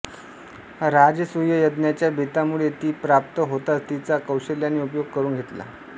राजसूय यज्ञच्या बेतामुळे ती प्राप्त होतांच तिचा कौशल्याने उपयोग करून घेतला